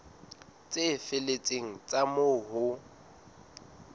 tse felletseng tsa moo ho